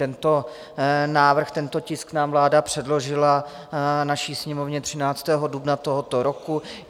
Tento návrh, tento tisk nám vláda předložila, naší Sněmovně, 13. dubna tohoto roku.